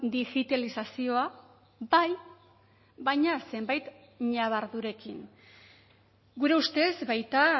digitalizazioa bai baina zenbait ñabardurekin gure ustez baita